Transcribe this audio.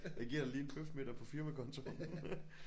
Jeg giver dig lige en bøfmiddag på firmakontoen